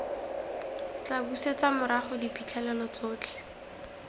tla busetsa morago diphitlhelelo tsotlhe